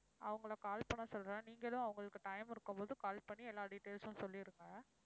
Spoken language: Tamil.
அவங்களை call பண்ண சொல்றேன் நீங்களும். அவங்களுக்கு time இருக்கும்போது call பண்ணி எல்லா details உம் சொல்லிடுங்க.